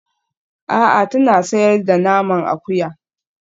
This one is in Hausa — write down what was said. A'a tana sayar da naman akuya